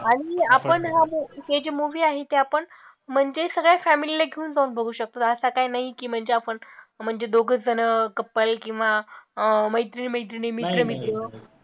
आणि आपण हा movie हे जे movie आहे ते आपण म्हणजे सगळ्या family ला घेऊन जाऊन बघू शकतो, असा काही नाही की म्हणजे आपण म्हणजे दोघंच जण couple किंवा अं मैत्रिणी मैत्रिणी मित्र मित्र